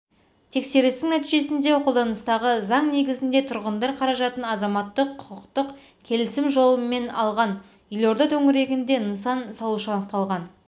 тексерістің нәтижесінде қолданыстағы заң негізінде тұрғындар қаражатын заматтық-құқықтық келісім жолымен алғанелорда төңірегінде нысан салушы анықталған